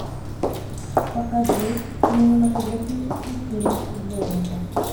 покажи кинематографический фильм золото